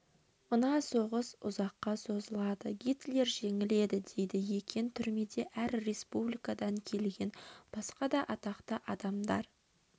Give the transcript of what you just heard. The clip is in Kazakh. мына соғыс ұзаққа созылады гитлер жеңіледі дейді екен түрмеде әр республикадан келген басқа да атақты адамдар